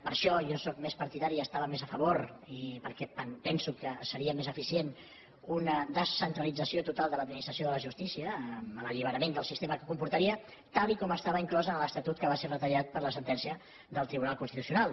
per això jo sóc més partidari i estava més a favor perquè penso que seria més eficient d’una descentralització total de l’administració de la justícia amb l’alliberament del sistema que comportaria tal com estava inclòs en l’estatut que va ser retallat per la sentència del tribunal constitucional